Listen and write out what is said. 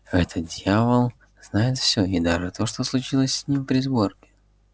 этот дьявол знает все и даже то что случилось с ним при сборке